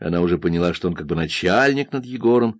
она уже поняла что только начальником егором